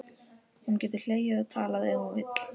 Hún getur hlegið og talað ef hún vill.